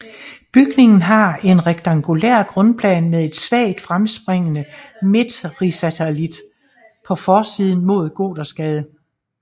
Bygningen har en rektangulær grundplan med en svagt fremspringende midtrisalit på forsiden mod Gothersgade